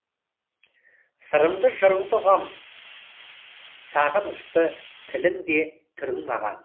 сырыңды жырыңды ұғам сағынышты тілің де түрің маған